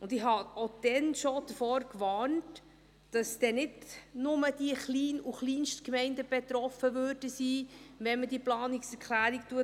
Und ich warnte auch damals schon davor, dass nicht nur die Klein- und Kleinstgemeinden betroffen wären, wenn man diese Planungserklärung annimmt.